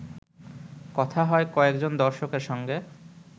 কথা হয় কয়েকজন দর্শকের সঙ্গে